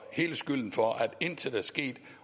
hele skylden for at der intet er sket